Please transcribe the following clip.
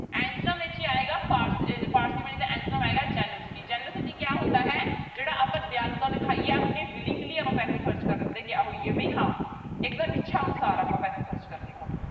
Antonym ਇੱਥੇ ਆਏਗੀ parsimony ਦਾ antonym ਆਏਗਾ generosity generosity ਕਿਆ ਹੁੰਦਾ ਹੈ ਜਿਹੜਾ ਆਪਾਂ ਦਿਆਲੂਤਾ ਦਿਖਾਈਏ ਆਪਣੀ willingly ਆਪਾਂ ਪੈਸੇ ਖ਼ਰਚ ਕਰਨ ਦੇ ਕਿਆ ਹੋਈਏ ਵੀ ਹਾਂ ਇੱਕਦਮ ਇੱਛਾ ਅਨੁਸਾਰ ਆਪਾਂ ਪੈਸੇ ਖ਼ਰਚ ਕਰਨੇ ਹੋਣ।